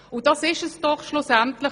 Genau darum geht es uns schlussendlich: